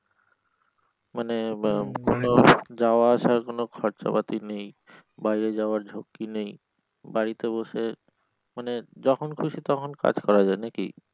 মানে আহ কোন যাওয়া আসার কোন খরচা পাতি নেই বাইরে যাওয়ার ঝুকি নেই বাড়িতে বসে মানে যখন খুশি তখন কাজ করা যায় নাকি?